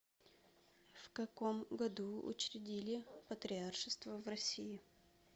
в каком году учредили патриаршество в россии